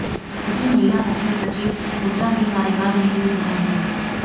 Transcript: सभी महिला मुख्य सचिव हुड्डा के कार्यकाल में ही हुए हैं